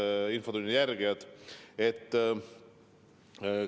Head infotunni jälgijad!